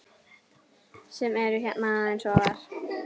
sem eru hérna aðeins ofar.